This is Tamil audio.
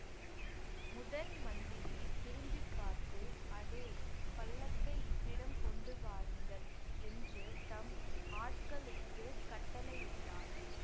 முதன் மந்திரி திரும்பி பார்த்து அடே பல்லக்கை இவ்விடம் கொண்டு வாருங்கள் என்று தம் ஆட்களுக்குக் கட்டளையிட்டார்